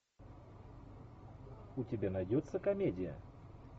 у тебя найдется комедия